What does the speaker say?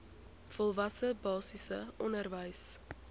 volwasse basiese onderwys